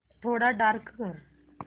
थोडा डार्क कर